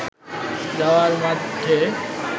যাওয়ার মধ্যে